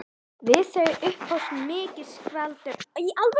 Við þau upphófst mikið skvaldur í réttarsalnum.